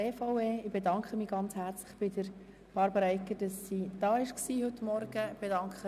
Ich bedanke mich herzlich bei Regierungsrätin Egger, dass sie heute Morgen hier war.